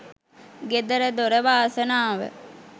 ගෙදර දොර වාසනාව